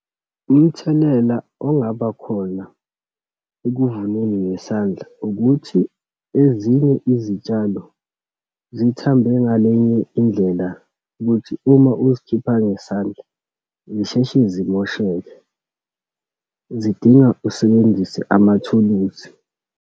Umthelela ongabakhona ekuvuneni ngesandla, ukuthi ezinye izitshalo zithambe ngalenye indlela ukuthi uma uzokhipha ngesandla, zisheshe zimosheke, zidinga usebenzise amathuluzi.